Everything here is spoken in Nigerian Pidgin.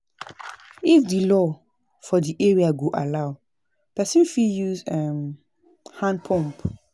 If di law for di area go allow, person fit use hand pump